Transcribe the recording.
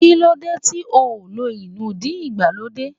Kí lóde ti óò ló inúdí ìgbàlódé?